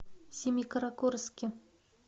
семикаракорске